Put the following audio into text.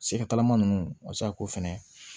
Sɛgɛtalama ninnu a bɛ se ka k'o fɛnɛ